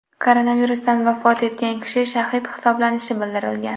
Koronavirusdan vafot etgan kishi shahid hisoblanishi bildirilgan .